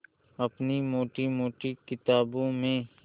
अपनी मोटी मोटी किताबों में